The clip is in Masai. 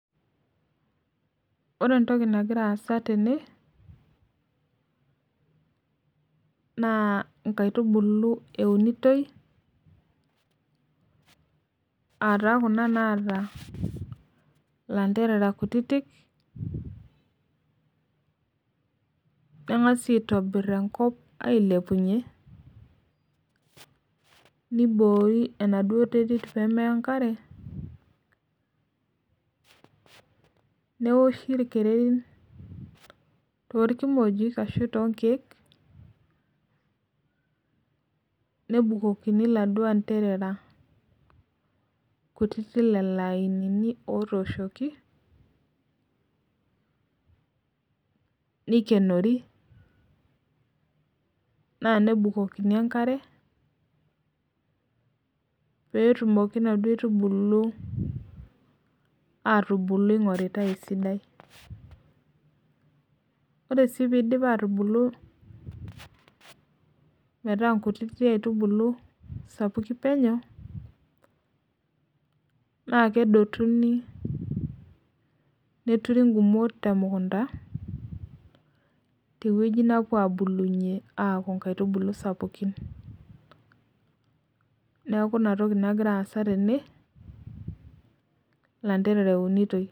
Ore entoki nagira aasa tene na nkaitubulu eunitoi ataa kuna naata landerera kutitik kengasai aitobir enkop ailepunye niboori emaduo twrit pemeya enkare neoshi irkererin tonkiek nebukokini laduo anderera lainini otooshoki nikenori na nebukokini enkare petumoki naduo aitubulu atubuku ingoritae esidai ore petumokibatubulu metaa nkutitik aitubulu sapukin penyo na kedotuni neuni temukunda aaku nkaitubulu sapukin neaku inatoki nagira aasa tene.